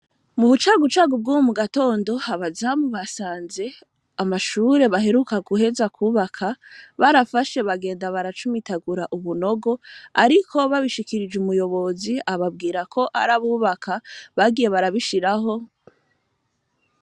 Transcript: Mu bucagucagu bwuwo mu gatondo habazamu basanze amashure baheruka guheza kubaka barafashe bagenda baracumitagura ubunogo, ariko babishikirije umuyobozi ababwira ko arabubaka bagiye barabishiraho.